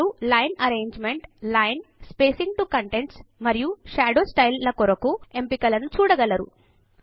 మీరు line arrangement line spacing to contents మరియు shadow style ల కొరకు ఎంపిక లను చూడగలరు